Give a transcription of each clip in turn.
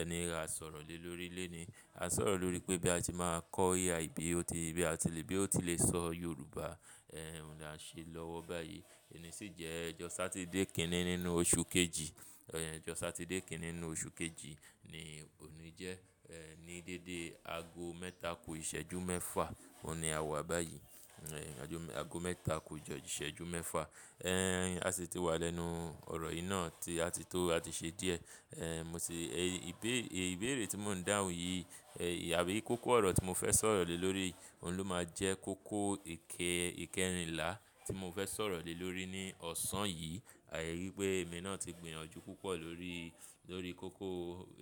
ẹni a sọ̀rọ̀ lóri lélè ni. A sọ̀rọ̀ lóri pé bí a ti máa kọ́ AI bí ó ti, bí a ti lè, bí ó ti lè sọ Yorùbá, ehn, oun lan ṣe lọ́wọ́ báyìí. Òní sì jẹ́ ọjọ́ Satidé kini nínú oṣù kejì, ehn, ọjọ́ Satidé kini nínú oṣù kejì ni òní jẹ́. Ehn, ní dédé ago mẹ́ta kò ìṣẹ́jú mẹ́fa, òun ni a wà báyìí. Ehn, ago mẹ́ta kò ìṣẹ́jú mẹ́fa. Ehn, a sì ti wà lẹ́nu ọ̀rọ̀ yìí náà tí a ti tó, a ti ṣe díẹ̀. Ehn, mo sì, ìbéèrè tí mò ń dáhùn yìí àbí kókó ọ̀rọ̀ tí mo fẹ́ sọ̀rọ̀ lè lórí i, òun ló máa jẹ́ kókó ìkẹ́rìnlá tí mo fẹ́ sọ̀rọ̀ lè lórọ̀ ní ọ̀sán yìí. Àìrí pé èmi náà ti gbìyànjú púpọ̀ lórí, lórí kókó,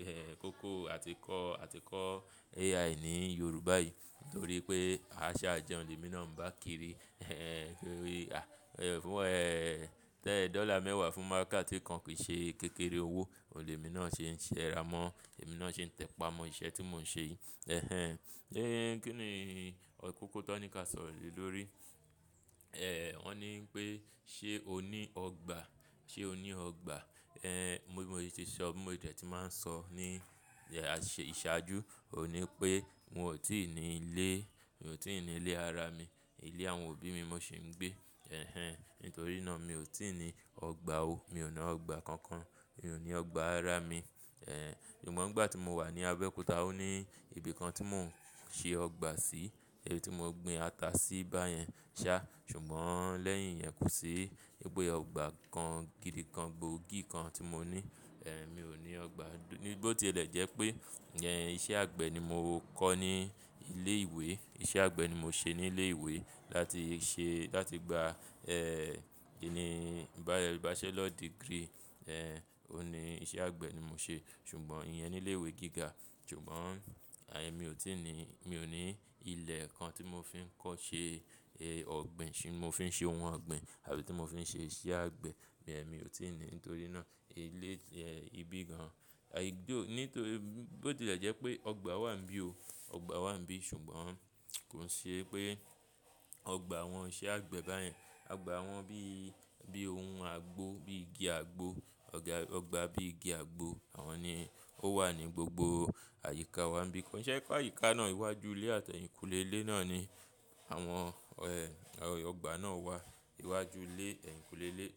ehn, kókó àtíkọ́, àtíkọ́ AI ní Yorùbá yìí. Nítorí pé a ṣaàjẹun ń le mi náà bá kiri. Kíni wí, à, fún ẹ tẹ́ẹ̀ dọ́là mẹ́wàá fún márka tí kan kìí ṣe kékeré owó, òun lè mi náà ṣe ń ṣẹ ra mọ́, èmi náà ṣe ń tẹpá mọ́ iṣẹ́ tí mò ń ṣe yìí. Ehn, kí ni kókó tan ní ká sọ̀rọ̀ lè lórí? Ehn, wọ́n ní pé ṣe ò ní ọgbà? Ṣe ò ní ọgbà? Ehn, mo ti sọ, bi mo dẹ tí màá ń sọ ní ìṣáájú. Òní pé n ò tí ì ní ilé, n ò tí ì ní ilé ara mi. Ilé àwọn òbí mi mò sì ń gbé. Ehn, nítorí náà mi ò tí ì ní ọgbà ó. Mi ò ní ọgbà kankan. Mi ò ní ọgbà ara mi. Ehn, ṣùgbọ́n ìgbà tí mo wà ní Abẹ́òkúta ó ní ibi kan tí mò ń ṣe ọgbà sí. Ibi tí mo gbin ata sí báyẹn ṣá. Ṣùgbọ́n lẹ́yìn yin ẹ́ kò ṣi. Ìpè ọgbà kan gidi kan, gbòógì kan tí mo ní. Ehn, mi ò ní ọgbà. Nígbò tí ẹlẹ̀ jẹ́ pé iṣẹ́ àgbẹ̀ ni mo kọ́ ní ilé ìwé. Iṣẹ́ àgbẹ̀ ni mo ṣe ní ilé ìwé láti ṣe, láti gba, ehn, kí ni, bachelor degree. Ehn, òun ni iṣẹ́ àgbẹ̀ ni mo ṣe. Ṣùgbọ́n ìyẹn ní ilé ìwé gíga. Ṣùgbọ́n àì mi ò tí ì ní, mi ò ní ilẹ̀ kan tí mo fi ń kọ́ ṣe ọ̀gbìn, tí mo fi ń ṣe ohun ọ̀gbìn àbí tí mo fi ń ṣe iṣẹ́ àgbẹ̀. Bẹ́ẹ̀ ni mi ò tí ì ní nítorí náà ilé, ehn, ibi gan. Nítorí bó tilẹ̀ jẹ́ pé ọgbà wà níbí ò. Ọgbà wà níbí ṣùgbọ́n kò ṣe pé ọgbà wọn ṣe àgbẹ̀ báyẹn. Ọgbà wọn bí, bí ohun agbo, bí igi agbo, ọ̀gbà bí igi agbo, àwọn ni ó wà ní gbogbo àyíká wá níbí. Kò ṣe pé àyíká náà iwájú ilé àti ẹ̀yìnkùlé ilé náà ni àwọn ọgbà náà wà. Iwájú ilé, ẹ̀yìnkùlé ilé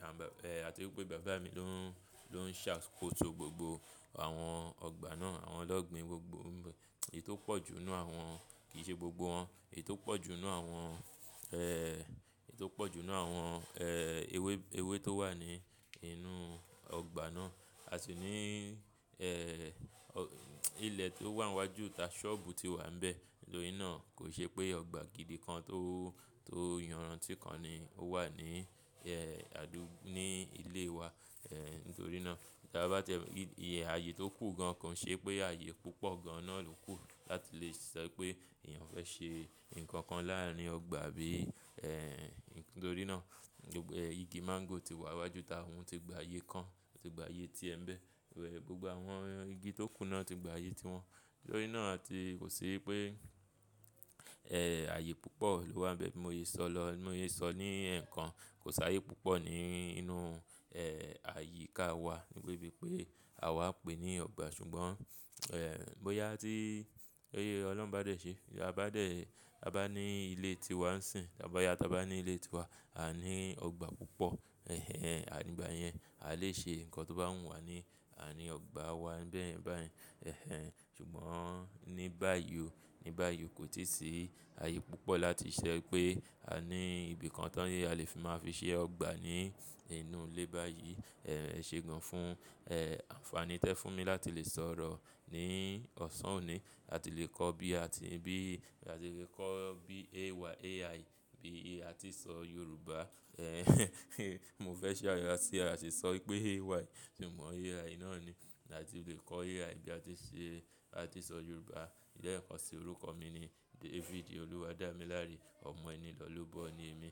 àti wípé bàbá mi ló ń, ló ń ṣe àkótò gbogbo àwọn ọgbà náà, àwọn lọ́gbìn gbogbo. Èyí tó pọ̀ jù nínú àwọn, kì í ṣe gbogbo wọn. Èyí tó pọ̀ jù nínú àwọn, ehn, èyí tó pọ̀ jù nínú àwọn, ehn, ewé tó wà ní inú ọgbà náà. A sì ní, ehn, ilẹ̀ tó wà iwájú ta sọ́ọ̀bù tí wà níbẹ̀. Nítorí náà kò ṣe pé ọgbà gidi kan tó, tó yànran tí kan ni ó wà ní, ehn, àdúgbò, ní ilé wa. Ehn, nítorí náà bí a bá tẹ ìrù yè aye tó kù gan kò ṣe pé àyè púpọ̀ gan náà ló kù láti lè ṣo pé èèyàn fẹ́ ṣe nǹkan kan láàrin ọgbà bí. Ehn, nítorí náà igi máńgò tí wà iwájú ta òun ti gba àyè kan, ti gba àyè tí ẹ ń bẹ. Gbogbo àwọn igi tó kù náà ti gba àyè tí wọn. Nítorí náà a ti kò ṣe pé, ehn, àyè púpọ̀ ló wà níbẹ̀ bí mo yẹ sọ lọ. Bí mo yẹ sọ ní ẹ̀ẹ̀kan kò sáàyè púpọ̀ ní inú, ehn, àyíká wà níbi tí pé àwa pé ní ọgbà. Ṣùgbọ́n, ehn, bóyá tí, ẹyẹ Ọlọ́run bá dẹ̀ ṣe, bia ba dẹ̀, bá ní ilé ti wà ń sìn, bá yáta bá ní ilé ti wa, a ní ọgbà púpọ̀. Ehn, nígbà yẹn a lè ṣe nǹkan tó bá wù wá ní, a ní ọgbà wa bẹ́ẹ̀ báyìí. Ehn, ṣùgbọ́n ní báyìí ó, ní báyìí ó kò tí ì sí àyè púpọ̀ láti ṣẹ pé a ní ibi kan tán yé a lè fi máa fi ṣe ọgbà ní inú ilé báyìí. Ehn, ẹṣe gan fún, ehn, àǹfààní tẹ fún mi láti lè sọ̀rọ̀ ní ọ̀sán òní. A ti lè kọ́ bí a ti, bí a ti lè kọ́ bí AI bí a tí ń sọ Yorùbá. Ehn, mo fẹ́ ṣàròyé wá tí a sì sọ pé AI, ṣùgbọ́n AI náà ni láti lè kọ́ AI bí a ti ṣe, a ti sọ Yorùbá. Lẹẹ kàn sí orúkọ mi ni David Oluwadamilare Omoenilọlobọ ni mí.